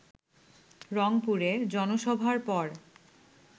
রংপুরে জনসভার পর